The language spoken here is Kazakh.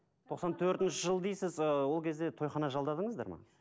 тоқсан төртінші жыл дейсіз ы ол кезде тойхана жалдадыңыздар ма